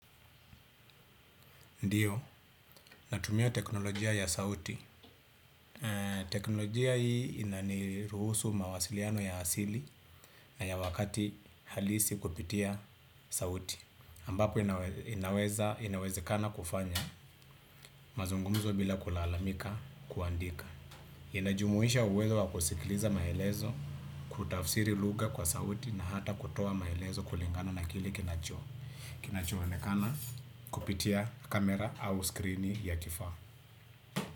Ndiyo, natumia teknolojia ya sauti. Teknolojia hii inaniruhusu mawasiliano ya asili na ya wakati halisi kupitia sauti. Ambapo inaweza, inawezekana kufanya, mazungumzo bila kulalamika kuandika. Inajumuisha uwezo wakusikiliza maelezo, kutafsiri lugha kwa sauti na hata kutoa maelezo kulingana na kile kinacho. Kinacho onekana kupitia kamera au skrini ya kifaa.